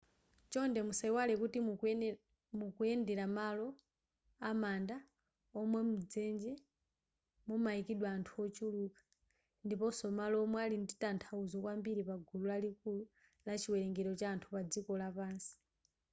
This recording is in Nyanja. chonde musayiwale kuti mukuyendera malo amanda omwe mdzenje mumayikidwa anthu ochuluka ndiponso malo omwe ali ndi tanthauzo kwambiri pagulu lalikulu la chiwerengero cha anthu padziko lapansi